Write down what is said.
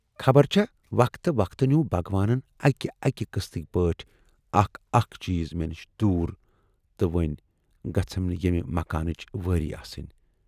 خبر چھا وقتہٕ وقتہٕ نیوٗو بھگوانَن اکہِ اکہِ قسطٕکۍ پٲٹھۍ اکھ اکھ چیٖز مے نِش دوٗر تہٕ وۅنۍ گٔژھٕم نہٕ ییمہِ مکانٕچ وٲرۍ آسٕنۍ۔